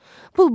Pul?